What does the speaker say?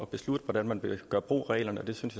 beslutte hvordan man vil gøre brug af reglerne og det synes